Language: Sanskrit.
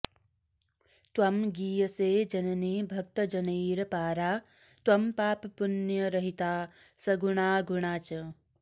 त्वं गीयसे जननि भक्तजनैरपारा त्वं पापपुण्यरहिता सगुणाऽगुणा च